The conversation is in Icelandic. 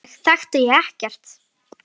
Sjálfa mig þekkti ég ekkert.